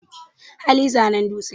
hali zanen dutse